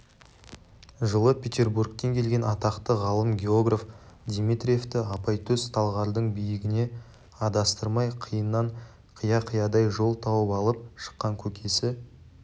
жылы петербургтен келген атақты ғалым географ дмитриевті апайтөс талғардың биігіне адастырмай қиыннан қия-қиядан жол тауып алып шыққан көкесі